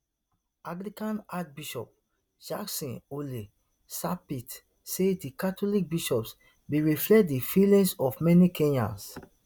anglican archbishop jackson ole sapit say di catholic bishops bin reflect di feelings of many kenyans